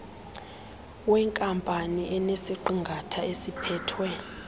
wenkampani enesiqingatha esiphethwe